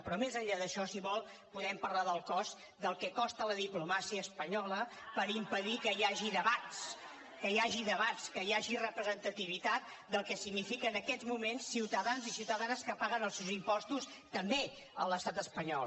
però més enllà d’això si vol podem parlar del cost del que costa la diplomàcia espanyola hagi representativitat del que signifiquen en aquests moments ciutadans i ciutadanes que paguen els seus impostos també a l’estat espanyol